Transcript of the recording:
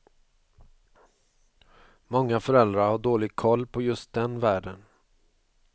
Många föräldrar har dålig koll på just den världen.